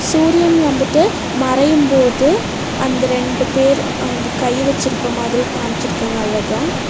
சூரியன் வந்துட்டு மறையும் போது அந்த ரெண்டு பேர் அங்கு கை வெச்சிருக்க மாதிரி காம்ச்சிருக்காங்க அழகா.